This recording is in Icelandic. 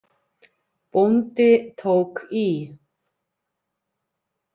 Bóndi tók í.